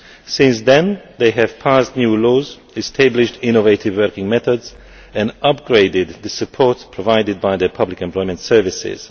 Since then, they have passed new laws, established innovative working methods, and upgraded the support provided by the public employment services.